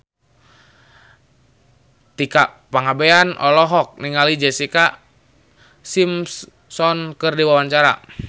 Tika Pangabean olohok ningali Jessica Simpson keur diwawancara